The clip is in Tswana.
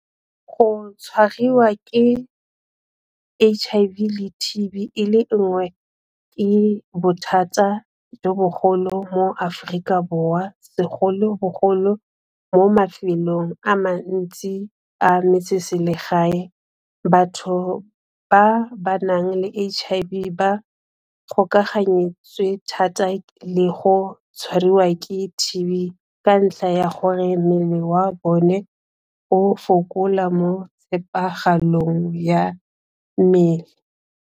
Go tshwariwa ke H_I_V le T_B e le nngwe ke bothata jo bogolo mo Aforika Borwa segolobogolo mo mafelong a mantsi a metseselegae batho ba ba nang le H_I_V ba gokaganyetswe thata le go tshwariwa ke T_B ka ntlha ya gore mmele wa bone o fokola mo tshepagalong ya mmele.